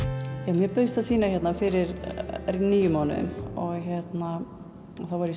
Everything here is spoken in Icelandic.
mér bauðst að sýna hérna fyrir níu mánuðum og þá var ég